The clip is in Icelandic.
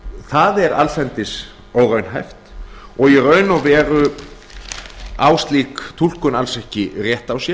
það er allsendis óraunhæft og í raun og veru á slík túlkun alls ekki rétt á sér